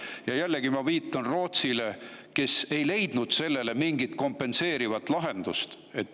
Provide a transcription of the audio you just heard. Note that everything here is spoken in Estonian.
Ja jällegi ma viitan Rootsile, kes ei leidnud sellele mingit kompenseerivat lahendust.